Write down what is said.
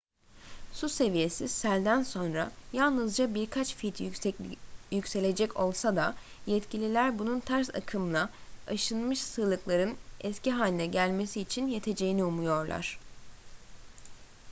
su seviyesi selden sonra yalnızca birkaç feet yükselecek olsa da yetkililer bunun ters akımla aşınmış sığlıkların eski haline gelmesi için yeteceğini umuyorlar